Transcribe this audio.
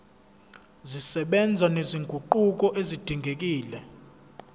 zisebenza nezinguquko ezidingekile